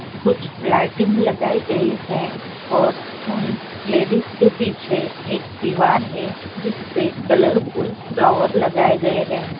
कुछ लाइटिंग गई है और हूँ उन लेडिज पे पीछे एक देवर है जिसपे कॉलऔरफुल फ्लावर्स लगाए गए हैं ।